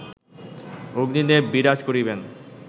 অগ্নিদেব বিরাজ করিবেন